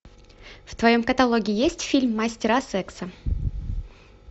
в твоем каталоге есть фильм мастера секса